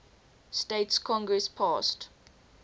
states congress passed